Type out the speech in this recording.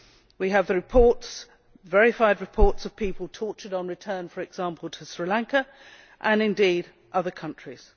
We have reports verified reports of people tortured on return, for example to Sri Lanka and indeed other countries.